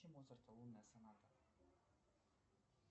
включи моцарта лунная соната